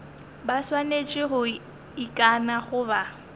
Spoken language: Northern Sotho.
ba swanetše go ikana goba